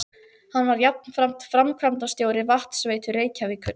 Hann var jafnframt framkvæmdastjóri Vatnsveitu Reykjavíkur.